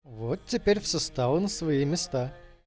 вот теперь все стало на свои места